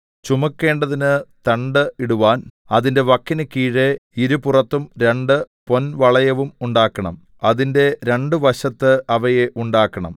ചുമക്കേണ്ടതിന് തണ്ട് ഇടുവാൻ അതിന്റെ വക്കിന് കീഴെ ഇരുപുറത്തും രണ്ട് പൊൻവളയവും ഉണ്ടാക്കണം അതിന്റെ രണ്ട് വശത്ത് അവയെ ഉണ്ടാക്കണം